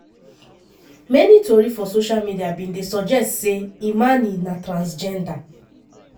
many tori for social media bin dey suggest say imane na transgender.